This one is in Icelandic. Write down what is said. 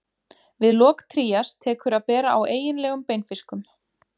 Við lok trías tekur að bera á eiginlegum beinfiskum.